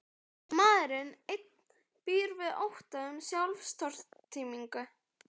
Maðurinn einn býr við ótta um sjálfstortímingu.